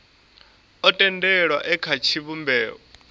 o tendelwaho e kha tshivhumbeo